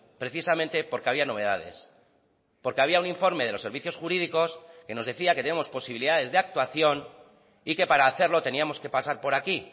precisamente porque había novedades porque había un informe de los servicios jurídicos que nos decía que tenemos posibilidades de actuación y que para hacerlo teníamos que pasar por aquí